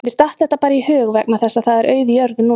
Mér datt þetta bara í hug vegna þess að það er auð jörð núna